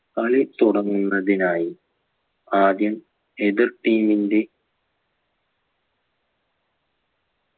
കളി തുടങ്ങുന്നതിനായി ആദ്യം എതിർ team ന്റെ